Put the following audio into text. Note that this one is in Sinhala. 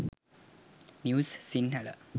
news sinhala